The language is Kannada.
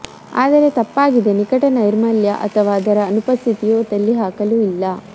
ಆದರೆ ತಪ್ಪಾಗಿದೆ ನಿಕಟ ನೈರ್ಮಲ್ಯ ಅಥವಾ ಅದರ ಅನುಪಸ್ಥಿತಿಯು ತಳ್ಳಿಹಾಕಲು ಇಲ್ಲ